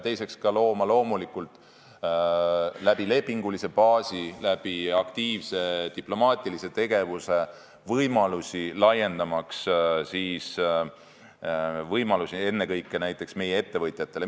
Teiseks peame looma lepingulise baasi ja aktiivse diplomaatilise tegevuse kaudu võimalusi ennekõike näiteks meie ettevõtjatele.